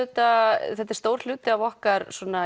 þetta þetta er stór hluti af okkar